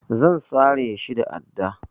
Zan sare shi da adda.